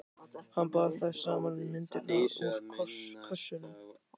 Hann bar þær saman við myndirnar úr kössunum.